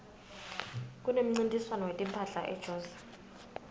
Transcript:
kunemncintiswano wetimphahla ejozi